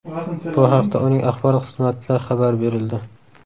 Bu haqda uning axborot xizmatida xabar berildi .